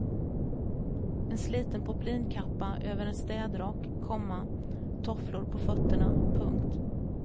En sliten poplinkappa över en städrock, komma tofflor på fötterna. punkt